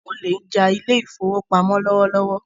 Àwọn olè ń ja ile-ìfowópamó lọwọlọwọ